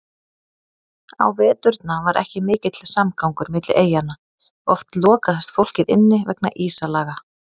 Á veturna var ekki mikill samgangur milli eyjanna, oft lokaðist fólkið inni vegna ísalaga.